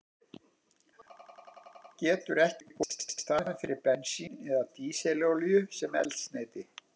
Vatn getur ekki komið í staðinn fyrir bensín eða dísilolíu sem eldsneyti.